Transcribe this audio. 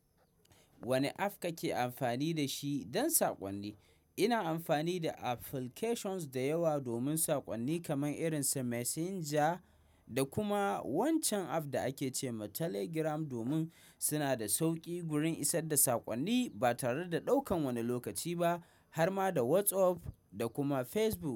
Wane app kake amfani da shi don saƙonni? Ina amfani da applications da yawa domin saƙonni kamar irin su Messenger da kuma wancan app da ake ce ma Telegram domin suna da sauƙi gurin isar da saƙonni ba tare da ɗaukan wani lokaci ba har ma da WhatsApp da kuma Facebook.